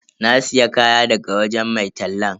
Na siya kaya daga wajen mai tallan.